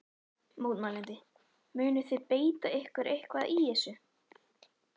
Mótmælandi: Munið þið beita ykkur eitthvað í þessu?